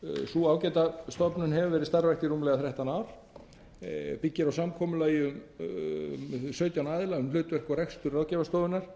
sú ágæta stofnun hefur verið starfrækt í rúmlega þrettán ár byggir á samkomulagi sautján aðila um hlutverk og rekstur ráðgjafarstofunnar